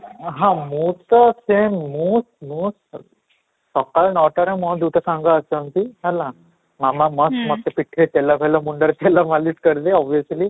ହଁ ମୁଁ ତ ସେଇୟା ହିଁ ମୁଁ ମୁଁ ସକାଳ ନଅ ଟା ରେ ମୋର ଦିଇଟା ସାଙ୍ଗ ଆସନ୍ତି ହେଲା, ମାମା ମସ୍ତ ମୋତେ ପିଠିରେ ତେଲ ଫେଲ ମୁଣ୍ଡରେ ତେଲ ମାଲିସ କରିଦିଏ obviously